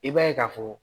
I b'a ye k'a fɔ